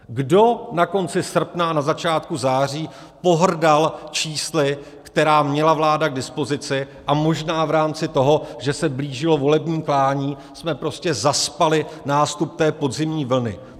Kdo na konci srpna a na začátku září pohrdal čísly, která měla vláda k dispozici, a možná v rámci toho, že se blížilo volební klání, jsme prostě zaspali nástup té podzimní vlny?